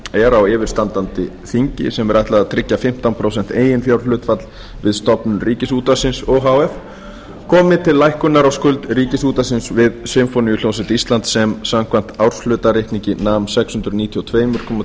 er á yfirstandandi þingi sem ætlað er að tryggja fimmtán prósent eiginfjárhlutfall við stofnun ríkisútvarpsins o h f komi til lækkunar á skuld ríkisútvarpsins við sinfóníuhljómsveit íslands sem samkvæmt árshlutareikningi nam sex hundruð níutíu og tvö komma